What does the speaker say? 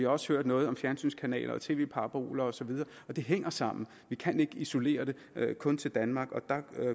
også hørt noget om fjernsynskanaler og tv paraboler osv og det hænger sammen vi kan ikke isolere det kun til danmark der